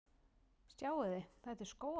Sjáiði! Þetta er Skógafoss.